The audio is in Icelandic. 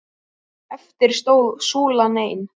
Eftir stóð súlan ein.